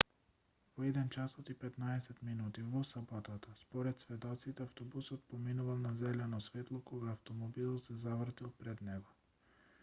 во 01:15 часот во саботата според сведоците автобусот поминувал на зелено светло кога автомобилот се завртел пред него